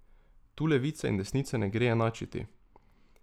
Tu levice in desnice ne gre enačiti.